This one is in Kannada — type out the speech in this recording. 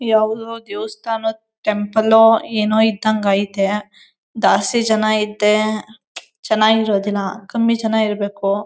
ಯಾವ್ದು ದೇವಸ್ತಾನ ಟೆಂಪಲ್ ಓ ಏನೋ ಇದ್ದಂಗ ಐತೆ. ದಾಸ್ತಿ ಜನ ಐತೆ ಚನಗಿರೋದಿಲ್ಲ. ಕಮ್ಮಿ ಜನ ಇರ್ಬೇಕು.